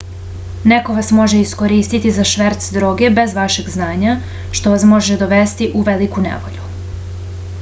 neko vas može iskoristiti za šverc droge bez vašeg znanja što vas može dovesti u veliku nevolju